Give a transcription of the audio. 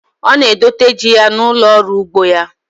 Ọ na-edote ji ya n'ụlọ ọrụ ugbo ya.